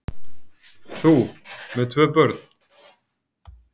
Þú með tvö börn!